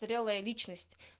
зрелая личность